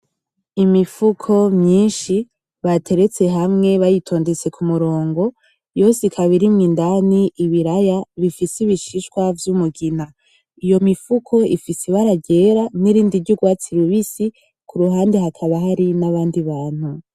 Imifuko myishi bateretse hamwe bayitondetse kumurongo yose ikaba irimwo indani ibiraya bifise ibishishwa vy'umugina iyo mifuko ifise ibara ryera nirindi ry'urwatsi rubusi kuruhande hakaba hari nabandi bantu